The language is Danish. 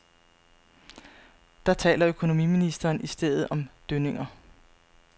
Der taler økonomiministeren i stedet om dønninger.